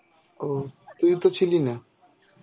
ও তুই তো ছিলি না?